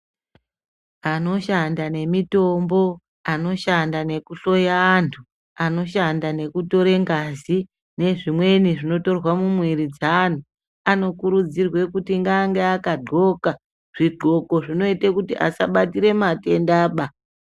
Anoshanda nemitombo anoshanda nekuhloya anhu anoshanda nekutore ngazi nezvimweni zvinotorwa mumwiri dzeanhu anokurudzirwe kuti ange akadhloka zvidhloko zvinoite kuti asabatire matendaba.